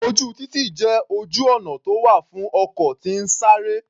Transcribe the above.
Ojú títì jẹ́ ojú ọ̀nà tó wà fún ọkọ̀ tí ń sáré.